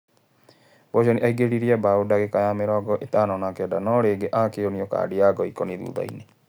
Boceni aingĩririe mbaũ ndagĩka ya mĩrongo-ĩtano na kenda, no rĩngĩ akĩonio kandi ya ngoikoni thuthainĩ.